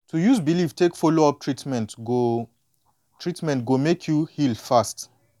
to use believe take follow up treatment go treatment go make you heal fast